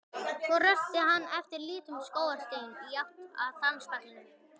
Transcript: Svo rölti hann eftir litlum skógarstígum í átt að danspallinum.